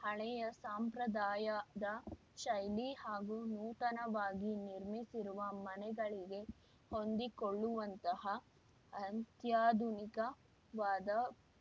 ಹಳೆಯ ಸಾಂಪ್ರದಾಯದ ಶೈಲಿ ಹಾಗೂ ನೂತನವಾಗಿ ನಿರ್ಮಿಸಿರುವ ಮನೆಗಳಿಗೆ ಹೊಂದಿಕೊಳ್ಳುವಂತಹ ಅತ್ಯಾಧುನಿಕವಾದ